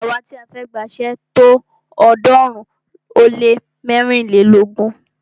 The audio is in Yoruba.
Àwa ti a fẹ́ gba iṣé tó ọ̀ọ́dúnrún ó lé mẹ́rìnlélógún.